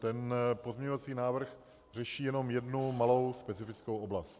Ten pozměňovací návrh řeší jenom jednu malou specifikou oblast.